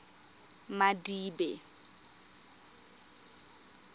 madibe